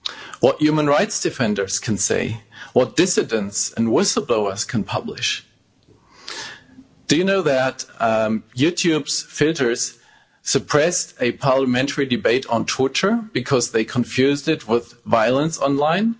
what human rights defenders can say, what dissidents and whistle-blowers can publish? Do you know that YouTube's filters suppressed a parliamentary debate on torture because they confused it with violence online?